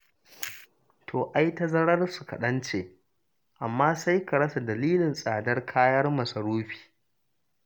To, ai tazararsu kaɗan ce, amma sai ka rasa dalilin tsadar kayan masarufi.